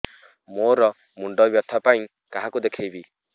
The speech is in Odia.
ମୋର ମୁଣ୍ଡ ବ୍ୟଥା ପାଇଁ କାହାକୁ ଦେଖେଇବି